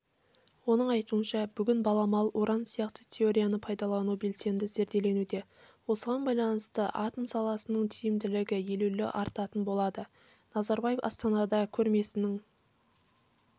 оның айтуынша бүгін баламалы уран сияқты теорияны пайдалану белсенді зерделенуде осыған байланысты атом саласының тиімділігі елеулі артатын болады назарбаев астанада көрмесінің